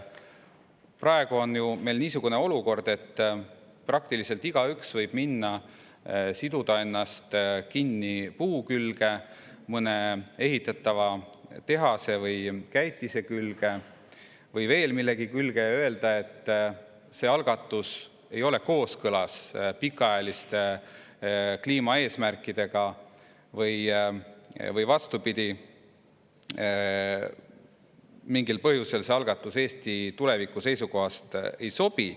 Praegu on meil ju niisugune olukord, et praktiliselt igaüks võib minna ja siduda ennast kinni puu, mõne ehitatava tehase, käitise või millegi muu külge ja öelda, et see algatus ei ole kooskõlas pikaajaliste kliimaeesmärkidega, või vastupidi, mingil põhjusel see algatus Eesti tuleviku seisukohast ei sobi.